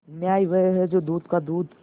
न्याय वह है जो दूध का दूध